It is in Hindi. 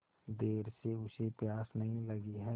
देर से उसे प्यास नहीं लगी हैं